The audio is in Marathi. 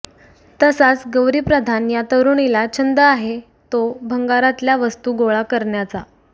तसाच गौरी प्रधान या तरुणीला छंद आहे तो भंगारातल्या वस्तू गोळा करण्याचा